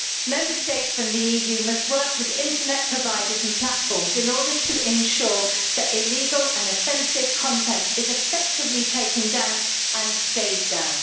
Member States and the EU must work with internet providers and platforms in order to ensure that illegal and offensive content is effectively taken down and stays down.